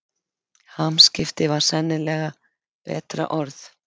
Hamskipti var sennilega betra orð.